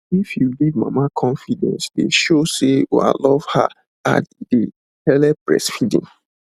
if you give mama confidece dey show say ua love her ad e dey helep breastfeeding